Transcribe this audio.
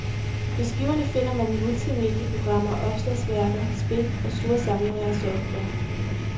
På skiverne finder man multimedieprogrammer, opslagsværker, spil og store samlinger af software.